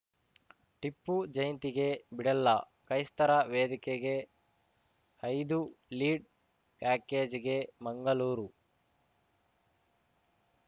ಟಿಪ್ಪು ಜಯಂತಿಗೆ ಬಿಡಲ್ಲ ಕ್ರೈಸ್ತರ ವೇದಿಕೆಗೆ ಐದು ಲೀಡ್‌ ಪ್ಯಾಕೇಜ್‌ಗೆ ಮಂಗಳೂರು